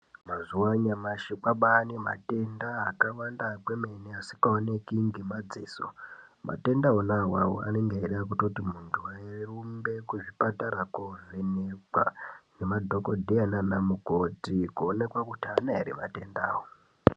Mazuwa anyamashi kwabaane matenda akawanda kwemene asikaoneki ngemadziso. Matenda ona awawo anenge eida kutoti muntu arumbe kuzviparata koovhenekwa nemadhogodheya nanamukoti koonekwa kuti aana ere matenda.